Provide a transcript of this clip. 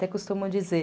Até costumo dizer.